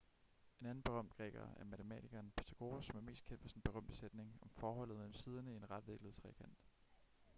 en anden berømt græker er matematikeren pythagoras som er mest kendt for sin berømte sætning om forholdet mellem siderne i en retvinklet trekant